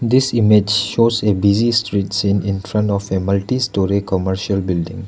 this image shows a busy street scene in front of a multi storey commercial building.